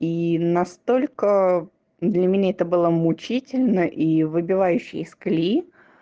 и настолько для меня это было мучительно и выбивающий из калеи